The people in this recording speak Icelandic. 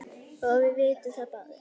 og við vitum það báðir.